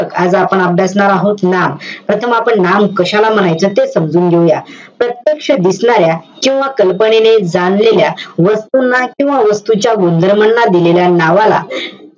आज आपण अभ्यासणार आहोत नाम. प्रथम आपण नाम कशाला म्हणायचं, ते समजून घेऊया. प्रत्यक्ष दिसणाऱ्या किंवा कल्पनेने जाणलेल्या वस्तुंना किंवा वस्तूंच्या गुणधर्माने दिलेल्या नावाला,